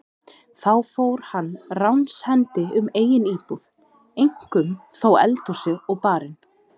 Þá fór hann ránshendi um eigin íbúð, eink- um þó eldhúsið og barinn.